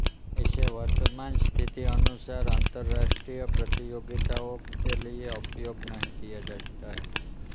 इसे वर्त्तमान स्थिति अनुसार अंतर्राष्ट्रीय प्रतियोगिताओं के लिए उपयोग नहीं किया जाता है